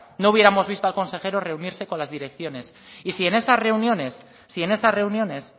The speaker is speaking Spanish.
no hubiéramos visto al consejero reunirse con las direcciones y si en esas reuniones si en esas reuniones